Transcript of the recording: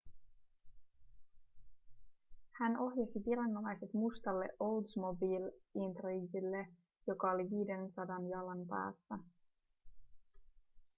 hän ohjasi viranomaiset mustalle oldsmobile intriguelleen joka oli 500 jalan päässä